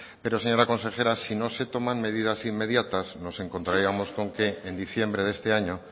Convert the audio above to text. pero señora consejera si no se toman medidas inmediatas nos encontraríamos con que en diciembre de este año